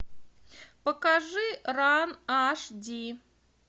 покажи ран аш ди